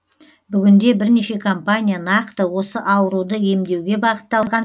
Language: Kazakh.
бүгінде бірнеше компания нақты осы ауруды емдеуге бағытталған